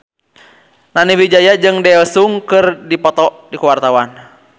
Nani Wijaya jeung Daesung keur dipoto ku wartawan